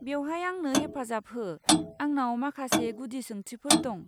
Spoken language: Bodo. बेवहाय आंनो हेफाजाब हो, आंनाव माखासे गुदि सोंथिफोर दं।